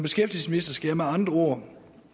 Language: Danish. skal jeg med andre ord